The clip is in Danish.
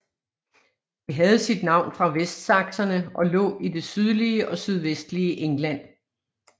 Det havde sit navn fra vestsakserne og lå i det sydlige og sydvestlige England